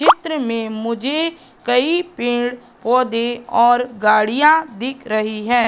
चित्र में मुझे कई पेड़-पौधे और गाड़ियां दिख रही है।